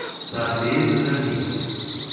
Þar biðu þær mín.